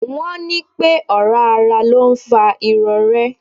Wọ́n ní pẹ́ ọ̀rá ara ló ń fa irorẹ́.